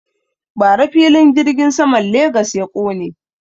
Bara filin jirgin saman Legas ya ƙone.